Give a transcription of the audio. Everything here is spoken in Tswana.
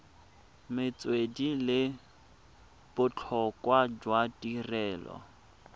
metswedi le botlhokwa jwa tirelo